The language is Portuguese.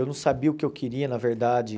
Eu não sabia o que eu queria, na verdade.